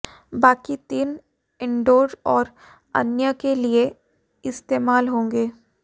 बाकी तीन इंडोर और अन्य के लिए इस्तेमाल होंगे